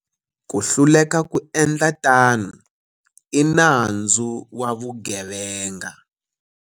Ku hluleka ku endla tano i nandzu wa vugevenga.